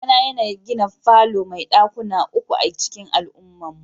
Babana yana gina falo mai dakuna uku a'cikin al'ummarmu.